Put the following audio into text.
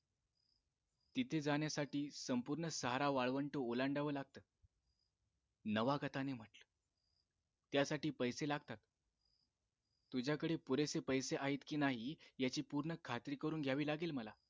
तिथे जाण्यासाठी संपूर्ण सहारा वाळवंट ओलांडावं लागत नवागताने म्हटलं त्यासाठी पैसे लागतात तुझ्याकडे पुरेसे पैसे आहेत कि नाही याची पूर्ण खात्री करून घ्यावी लागेल मला